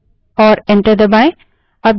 और enter दबायें